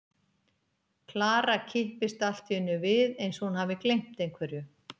Klara kippist allt í einu við eins og hún hafi gleymt einhverju.